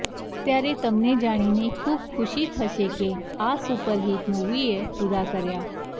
ત્યારે તમને જાણીને ખૂબ ખુશી થશે કે આ સુપરહીટ મુવીએ પૂરા કર્યા